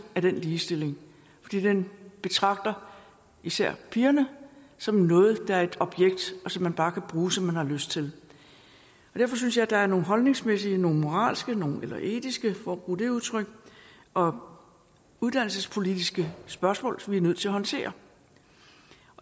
af den ligestilling fordi den betragter især pigerne som noget der er et objekt og som man bare kan bruge som man har lyst til derfor synes jeg der er nogle holdningsmæssige nogle moralske eller etiske for at bruge det udtryk og uddannelsespolitiske spørgsmål som vi er nødt til at håndtere